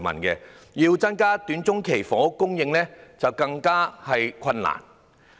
要增加短中期房屋供應，更為困難。